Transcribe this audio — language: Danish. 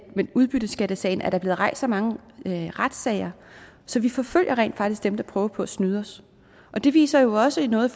med udbytteskattesagen er blevet rejst så mange retssager så vi forfølger rent faktisk dem der prøver på at snyde os og det viser jo også noget